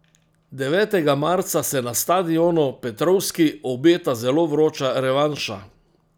Devetega marca se na stadionu Petrovskij obeta zelo vroča revanša.